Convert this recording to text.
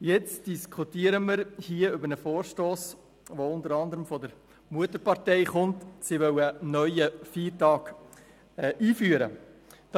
Jetzt diskutieren wir hier über einen Vorstoss, der unter anderem von der Mutterpartei kommt, die einen neuen Feiertag einführen möchte.